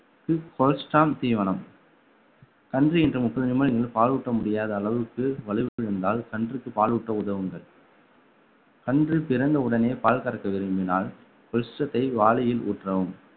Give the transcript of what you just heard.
தீவனம் கன்று ஈன்ற முப்பத்தஞ்சு நிமிடங்களில் பாலூட்ட முடியாத அளவுக்கு வலுவிழந்தால் கன்றுக்கு பாலூட்ட உதவுங்கள் கன்று பிறந்த உடனே பால் கறக்க விரும்பினால் வாளியில் ஊற்றவும்